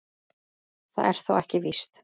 Það er þó ekki víst.